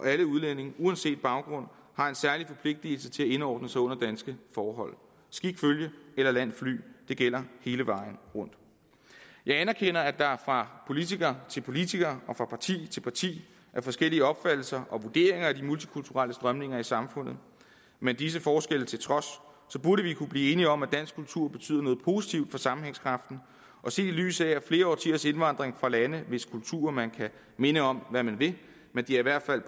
alle udlændinge uanset baggrund har en særlig forpligtelse til at indordne sig under danske forhold skik følge eller land fly det gælder hele vejen rundt jeg anerkender at der fra politiker til politiker og fra parti til parti er forskellige opfattelser og vurderinger af de multikulturelle strømninger i samfundet men disse forskelle til trods burde vi kunne blive enige om at dansk kultur betyder noget positivt for sammenhængskraften og set i lyset af at flere årtiers indvandring fra lande hvis kultur man kan mene om hvad man vil i hvert fald